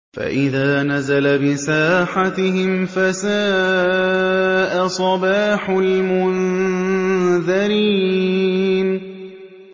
فَإِذَا نَزَلَ بِسَاحَتِهِمْ فَسَاءَ صَبَاحُ الْمُنذَرِينَ